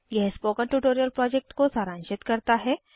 यह spoken tutorial project को सारांशित करता है